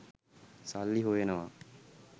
සල්ලි හොයනවා.